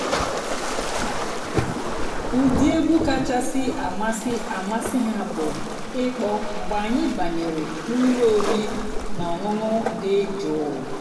ụ́dị́ ègwú kàchàsị́ àmásị́ àmásị́ há bụ́ ị̀kpọ́ mg̀bé ànyị́ bànyèré n'ụ́lọ́ ọ̀rí nà ọ̀ṅụ́ṅụ́ dị́ jụ́ụ́.